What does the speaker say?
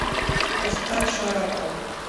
поставь шарапов